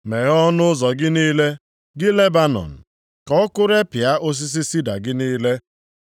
Meghee ọnụ ụzọ gị niile, gị Lebanọn. Ka ọkụ repịa osisi sida gị niile.